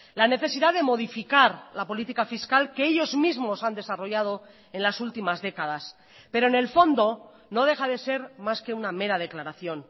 la necesidad de modificar la política fiscal que ellos mismos han desarrollado en las últimas décadas pero en el fondo no deja de ser más que una mera declaración